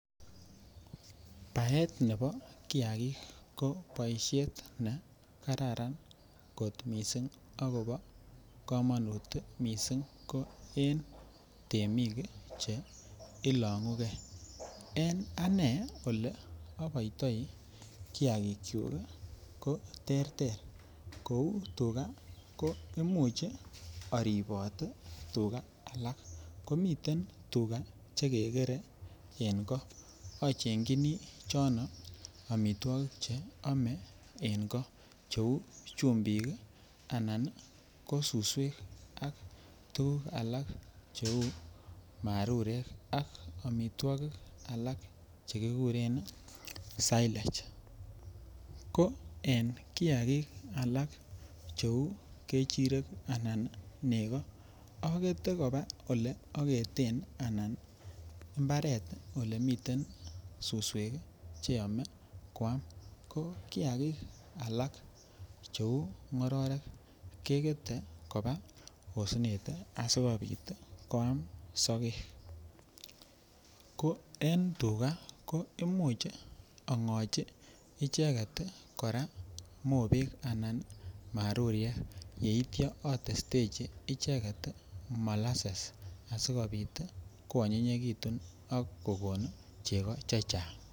Baet nebo kiakik ko boishet ne kararan kot mising ak kobo komonut mising, ko en temik che ilong'uke, en anee olee oboitoi kiakikyuk ko terter kouu tukaa ko imuch oribot tukaa alak komiten tukaa chekekere en koo ochengyini chono amitwokik cheome en koo cheuu chumbik anan ko suswek ak tukuk alak cheu marurekak amitwokik alak chekikuren sailej, ko en kiakik alak cheu kechirek anan nekoo okete koba eleoketen anan imbaret nemiten suswek cheyome kwam, ko kiakik alak cheuu ng'ororek kekete kobaa osnet asikobit kwaam sokek, ko en tukaa koimuch ang'ochi icheket mobek anan maruriat yeityo otestechi icheket molases asikobit koanyinyekitun ak kokon cheko chechang.